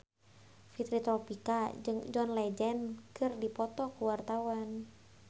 Fitri Tropika jeung John Legend keur dipoto ku wartawan